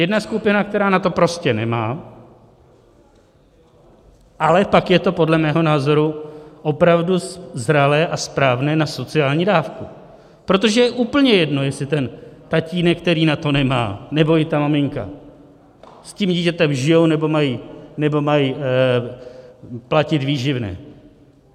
Jedna skupina, která na to prostě nemá, ale pak je to podle mého názoru opravdu zralé a správné na sociální dávku, protože je úplně jedno, jestli ten tatínek, který na to nemá, nebo i ta maminka, s tím dítětem žijí nebo mají platit výživné.